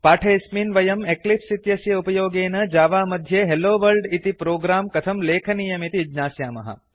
पाठेऽस्मिन् वयम् एक्लिप्स् इत्यस्य उपयोगेन जावा मध्ये हेल्लो वर्ल्ड इति प्रोग्रां कथं लेखनीयमिति ज्ञास्यामः